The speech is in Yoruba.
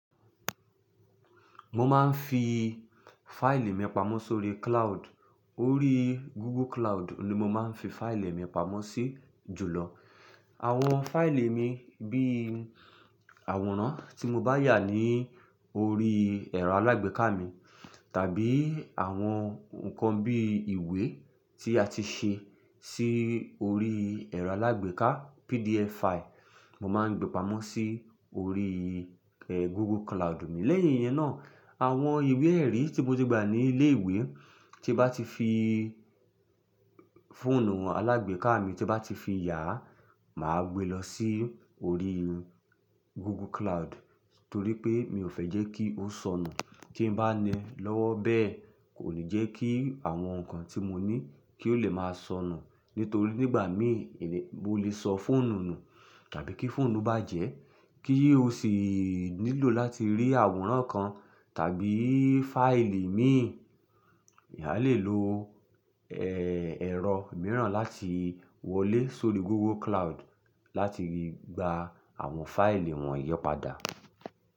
Mo máa ń fi fáìlì mi pamọ́ sórí cloud. Orí Google Cloud ni mo máa ń fi fáìlì mi pamọ́ sí jùlọ. Àwọn fáìlì mi bí àwòrán tí mo bá yà ní orí ẹ̀rọ alágbèéká mi, tàbí àwọn nǹkan bí ìwé tí a ti ṣe sí orí ẹ̀rọ alágbèéká PDF fáìlì, mo máa ń gbé pamọ́ sí orí, Google Cloud mi. Lẹ́yìn yẹn náà, àwọn ìwé-ẹ̀rí tí mo ti gba ní ilé ìwé tí bá ti fi fóònù alágbèéká mi tí bá ti fi yà, màá gbé lọ sí orí Google Cloud torí pé mi ò fẹ́ jẹ́ kí ó sọnù. Tí n bá ni lọ́wọ́ bẹ́ẹ̀ kò ní jẹ́ kí àwọn nǹkan tí mo ní kí ó le máa sọnù. Nítorí nígbà míi, mo lè sọ fóònù nù tàbí kí fóònù bàjẹ́ kí ó sì nílò láti rí àwòrán kan tàbí fáìlì mií, èèyàn á lè lo, ẹrọ miiran lati wọlé sori Google cloud lati gba awọn faili wonyii pada.